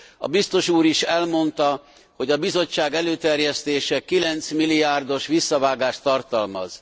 A biztos úr is elmondta, hogy a Bizottság előterjesztése 9 milliárdos visszavágást tartalmaz.